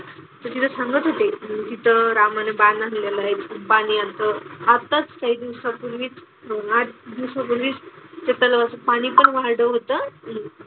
तर तिथे सांगत होते तिथं रामानं बाण हाणलेला आहे. ते बाण असं आताच काही दिवसांपूर्वीच आठ दिवसांपूर्वीच त्या तलावाचं पाणी पण वाढलं होतं.